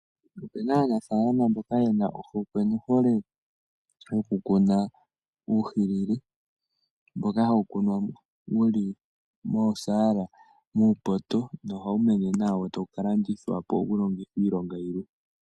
Opena aanafalama mboka ye na ohokwe nohole yokukuna uuhilili mboka hawu kunwa wuli moosaala, muupoto nohawu mene nawa, wo tawu ka landithwa po, wu longithwe iilonga yilwe.